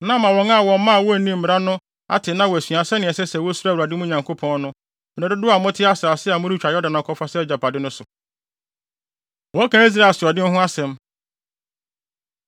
na ama wɔn mma a wonnim mmara no ate na wɔasua sɛnea ɛsɛ sɛ wosuro Awurade, mo Nyankopɔn no, mmere dodow a mote asase a moretwa Yordan akɔfa sɛ agyapade no so.” Wɔka Israel Asoɔden Ho Asɛm